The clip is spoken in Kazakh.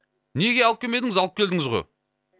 неге алып келмедіңіз алып келдіңіз ғой